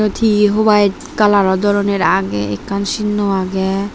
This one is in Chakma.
tee huwyte kalaror doronor agey ekkan sinnow agey.